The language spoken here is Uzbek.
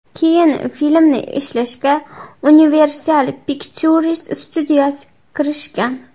Keyin filmni ishlashga Universal Pictures studiyasi kirishgan.